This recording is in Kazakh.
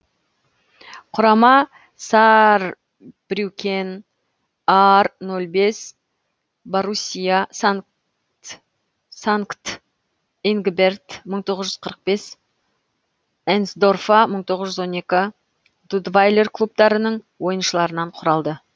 құрама саарбрюкен аар нөл бес боруссия санкт ингберт мың тоғыз жүз қырық бес энсдорфа мың тоғыз жүз он екі дудвайлер клубтарының ойыншыларынан құралды